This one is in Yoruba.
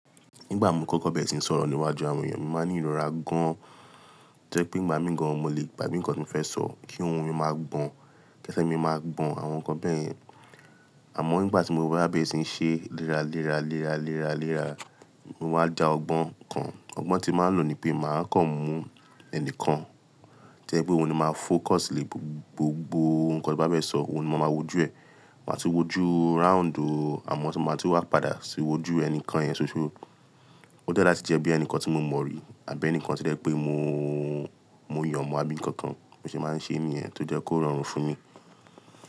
Nígbà mo kọ́kọ́ bẹ̀rẹ̀ síí sọ̀rọ̀ níwájú àwọn èèyàn, mo máa ní ìrora gan-an. To jẹ́ pé igba mí gan-an mo lè gbàgbe nǹkan tí mo fẹ́ sọ kí ohun mi máa gbọ̀n. Kẹsẹ mi máa gbọ̀n àwọn nǹkan bẹ́ẹ̀ yẹn. Àmọ́ nígbà tí mo wá bẹ̀rẹ̀ síí ṣe léra, léra, léra, léra, léra, mo máa da ọgbọ́n kan. Ọgbọ́n tí máa ń lò ni pé màá kàn mú ẹnìkan. To jẹ pé òun ni màá fókọsì lé gbogbo nǹkan tí n bá fẹ sọ, òun ni mà maa wòjú ẹ̀. Màá tún wòjú ráǹdò àmọ́ tí màá tún wá padà sí wòjú ẹnìkan yẹn ṣoṣo. O dẹ ni lati jẹ bi ẹnikan ti mo mọ rí tàbí ẹnikan ti o jẹ pe mo yọ mọ, abi nkankan, bi mo ṣe maa n ṣe nìyẹn tó jẹ ko rọrùn fun mi.